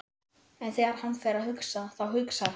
En þegar hann fer að hugsa, þá hugsar hann